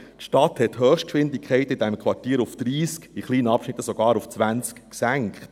Die Stadt hat die Höchstgeschwindigkeiten in diesen Quartieren auf 30 km/h, in kleinen Abschnitten sogar auf 20 km/h gesenkt.